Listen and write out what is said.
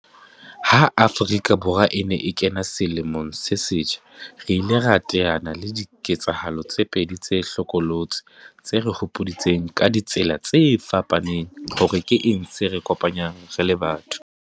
Ha Afrika Borwa e ne e kena selemong se setjha, re ile ra teana le le diketsahalo tse pedi tse hlokolosi tse re hopoditseng, ka di tsela tse fapaneng, hore ke eng se re kopanyang re le batho.